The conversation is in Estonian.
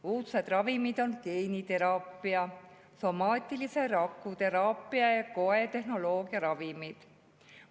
Uudsed ravimid on geeniteraapia, somaatilise rakuteraapia ja koetehnoloogilised ravimid.